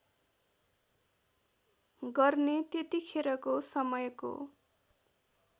गर्ने त्यतिखेरको समयको